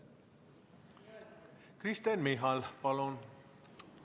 Kristen Michal, palun!